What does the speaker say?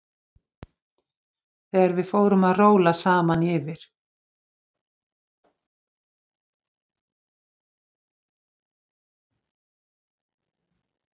Þegar við fórum að róla saman yfir